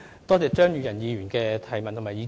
多謝張宇人議員的補充質詢和意見。